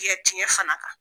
Tikɛ tiɲɛn fana kan.